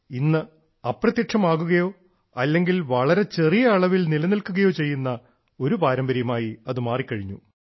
ഇന്ന് അപ്രത്യക്ഷമാവുകയോ അല്ലെങ്കിൽ വളരെ ചെറിയ അളവിൽ നിലനിൽക്കുകയോ ചെയ്യുന്ന ഒരു പാരമ്പര്യമായി അത് മാറിക്കഴിഞ്ഞു